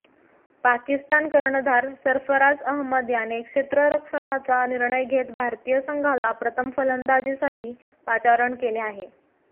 पाकिस्तान कर्णधार सर्फराझ अहमद याने क्षेत्ररक्षणाचा निर्णय घेत भारतीय संघाला प्रथम फलंदाजीसाठी पाचारण केले आहे